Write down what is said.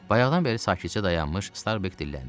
Bayaxdan bəri sakitcə dayanmış Starbek dilləndi.